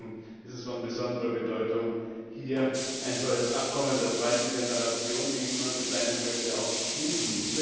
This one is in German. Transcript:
Deswegen ist es von besonderer Bedeutung, hier ein solches Abkommen der zweiten Generation, wie ich es mal bezeichnen möchte, zu schließen.